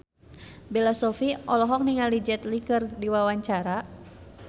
Bella Shofie olohok ningali Jet Li keur diwawancara